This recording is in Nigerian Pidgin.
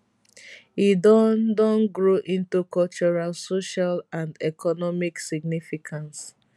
e don don grow into cultural social and economic significance